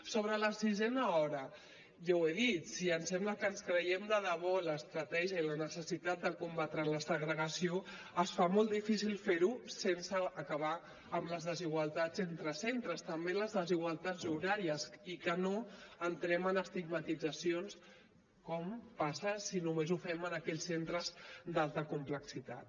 sobre la sisena hora ja ho he dit si ens sembla que ens creiem de debò l’estratègia i la necessitat de combatre la segregació es fa molt difícil fer ho sense acabar amb les desigualtats entre centres també les desigualtats horàries i que no entrem en estigmatitzacions com passa si només ho fem en aquells centres d’alta complexitat